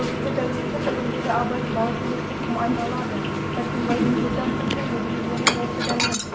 бүгінгі дәрменді бүгіндегі абайдың баласы емес деп кім айта алады дәркембайдың төрт-ақ сөзбен мегзегені осы дәрмен